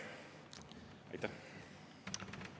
Aitäh!